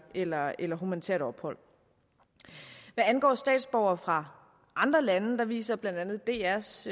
eller eller humanitært ophold hvad angår statsborgere fra andre lande viser blandt andet drs